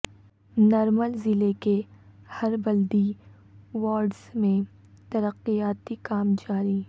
نرمل ضلع کے ہر بلدی وارڈز میں ترقیاتی کام جاری